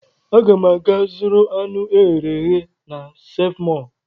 Aga m aga zụrụ anụ eghere eghe na Seev Mọọ.